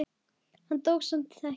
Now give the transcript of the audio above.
Hann dó samt ekki.